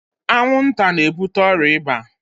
Anwụ nta n'ebute ọrịa ịba.